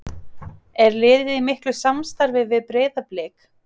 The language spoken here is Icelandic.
Er liðið í miklu samstarfi við Breiðablik?